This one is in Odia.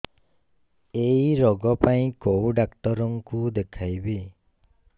ଏଇ ରୋଗ ପାଇଁ କଉ ଡ଼ାକ୍ତର ଙ୍କୁ ଦେଖେଇବି